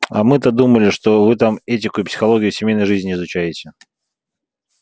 а мы-то думали что вы там этику и психологию семейной жизни изучаете